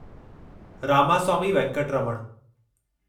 Ramaswamy Venkataraman